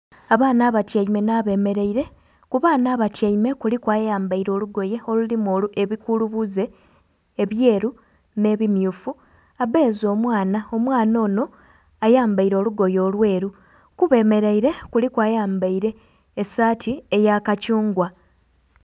Abaana abatyaime na bemereire ku baana abatyaime kuliku ayambaire olugoye oluliku ebikulubuze ebyeru ne'bimyufu abeese omwaana, omwaana ono ayambaire olugoye olweeru ku bemereire kuliku ayambaire esaati eya kathungwa.